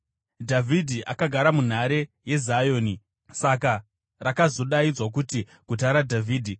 Dhavhidhi akagara munhare yeZioni, saka rakazodaidzwa kuti Guta raDhavhidhi.